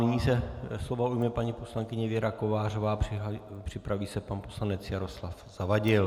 Nyní se slova ujme paní poslankyně Věra Kovářová, připraví se pan poslanec Jaroslav Zavadil.